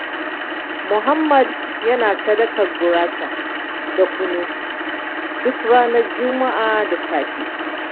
Muhammad yana sadakar gurasa da kunu, duk ranar juma'a da safe.